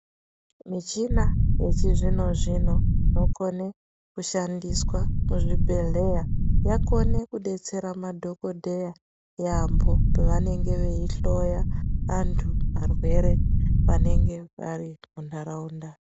Muchina yechizvino zvino yokone kushandiswa muzvibhedhleya yakone kubetsera madhokodheya yaambo pavanenge veyihloya antu arwere vanenge vari muntaraunda.